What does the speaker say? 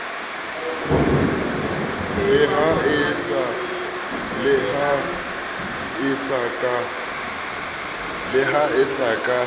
le ha e se ka